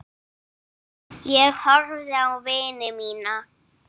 Ég horfði á vini mína.